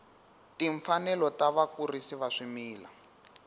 timfanelo ta vakurisi va swimila